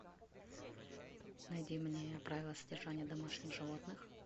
найди мне правила содержания домашних животных